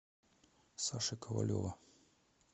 саши ковалева